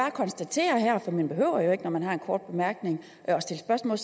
at konstatere her for man behøver jo ikke når man har en kort bemærkning at stille spørgsmål